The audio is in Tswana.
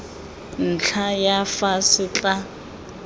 ntlha ya fa se tla